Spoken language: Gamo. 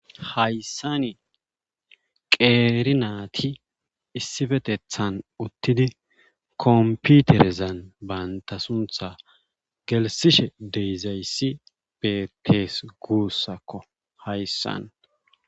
Hayssan qeeri naati issippetethan uttidi kompiterezan banta sunththa gelssishe de'izayssi beetees guussakko hayssan